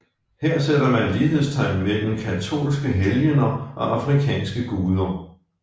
Her sætter man lighedstegn mellem katolske helgener og afrikanske guder